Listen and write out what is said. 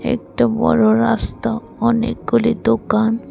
একটা বড় রাস্তা অনেকগুলি দোকান।